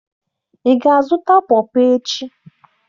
Ị ga-azụta PawPaw echi?